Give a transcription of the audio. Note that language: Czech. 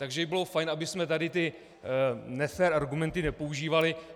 Takže by bylo fajn, abychom tady ty nefér argumenty nepoužívali.